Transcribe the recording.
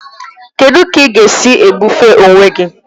Kedụ ka ị ga-esi ebufe onwe gị?